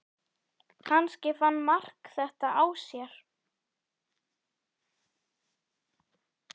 Kannski fann Mark þetta á sér.